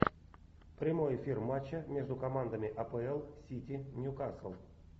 прямой эфир матча между командами апл сити ньюкасл